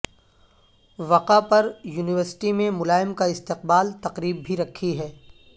وقع پر یونیورسٹی میں ملائم کا استقبال تقریب بھی رکھی ہے